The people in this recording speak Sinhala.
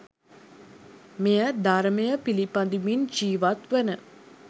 මෙය ධර්මය පිළිපදිමින් ජීවත්වන